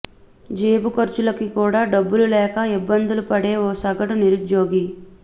జేబు ఖర్చులకి కూడా డబ్బులు లేక ఇబ్బందులు పడే ఓ సగటు నిరుద్యోగి